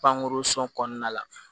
Pankurun kɔnɔna la